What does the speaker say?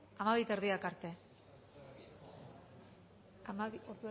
hamabi eta erdiak arte ordu erdi